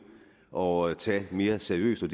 og tage mere seriøst det